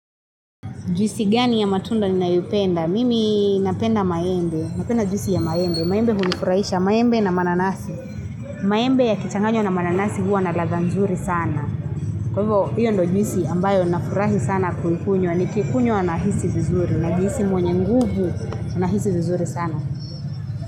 Juisi gani ya matunda ninayopenda? Mimi napenda maembe. Napenda juisi ya maembe. Maembe hunifurahisha. Maembe na mananasi. Maembe yakichanganywa na mananasi huwa na ladha nzuri sana. Kwa hivyo, hiyo ndo juisi ambayo nafurahi sana kuikunywa. Nikikunywa nahisi vizuri. Najihisi mwenye nguvu, nahisi vizuri sana.